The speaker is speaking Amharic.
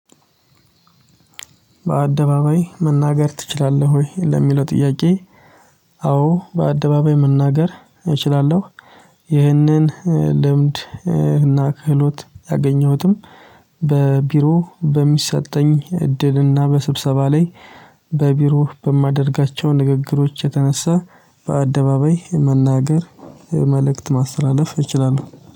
በአደባባይ መናገር ትችላለህ ወይ ለሚለው ጥያቄ? አዎ በአደባባይ መናገር እችላለሁ። ይህንን ልምድ እና ክህሎት ያገኘሁትም በቢሮ በሚሰጠኝ እድልና በስብሰባ ላይ። በቢሮ በማደርጋቸው ንግግሮች የተነሳ በአደባባይ መናገር መልእክት ማስተላለፍ እችላለሁ